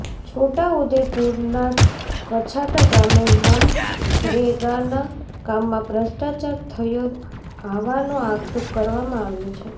છોટાઉદેપુરના કછાટા ગામે મનરેગાન કામમાં ભ્રષ્ટાચાર થયો હાવાનો આક્ષેપ કરવામાં આવ્યો છે